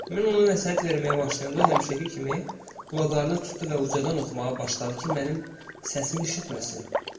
Mən ona nəsihət verməyə başlayanda, o həmişəki kimi qulaqlarını tutdu və ucadan oxumağa başladı ki, mənim səsimi eşitməsin.